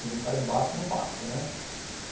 Sem nem um carimbaço, não passa, né?